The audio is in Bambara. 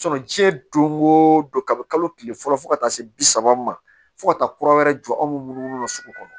jiyɛn don go don kabini kalo tile fɔlɔ fo ka taa se bi saba ma fo ka taa kura wɛrɛ jɔ an munumunu sugu kɔnɔ